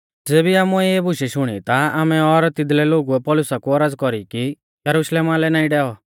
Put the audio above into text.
ज़ेबी आमुऐ इऐ बुशै शुणी ता आमै और तिदलै लोगुऐ पौलुसा कु औरज़ कौरी कि यरुशलेमा लै नाईं डेवे